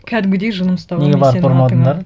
кәдімгідей жыным ұстаған